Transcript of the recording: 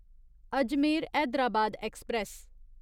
Ajmer Hyderabad express